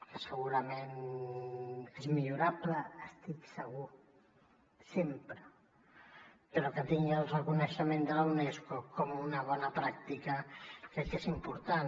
que segurament és millorable n’estic segur sempre però que tingui el reconeixement de la unesco com una bona pràctica crec que és important